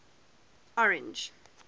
orange